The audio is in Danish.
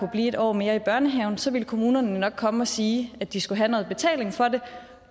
blive en år mere i børnehaven så vil kommunerne jo nok komme og sige at de skal have noget betaling for det